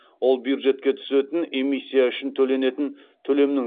ол бюджетке түсетін эмиссия үшін төленетін төлемнің